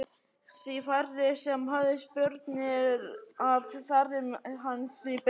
Því færri sem höfðu spurnir af ferðum hans því betra.